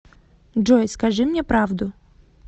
джой скажи мне правду